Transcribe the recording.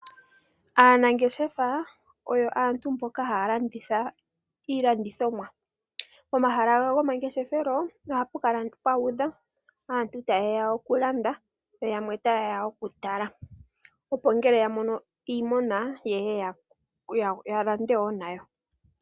Aanangeshefa oyo aantu mboka haya landitha iilandithomwa. Pomahala gawo gomangeshefelo ohapu kala aantu taye ya okulanda yo yamwe ta ye ya okutala. Opo ngele yamono iiponda ye ye yalande wo nayo.